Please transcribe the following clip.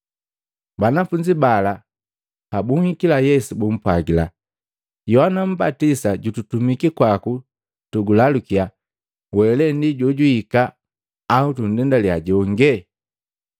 Banafunzi bala pabunhikila Yesu bumpwagila, “Yohana mmbatisa jututumiki kwaku tugulalukya, ‘We lee ndi jojuhika, au tundendalya jonge?’ ”